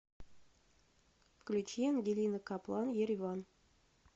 включи ангелина каплан ереван